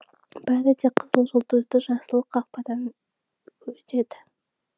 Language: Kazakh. бәрі де қызыл жұлдызды жасыл қақпадан өтеді